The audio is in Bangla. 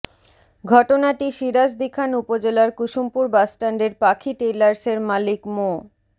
ঘটনাটি সিরাজদিখান উপজেলার কুসুমপুর বাসস্ট্যান্ডের পাখি টেইলার্সের মালিক মো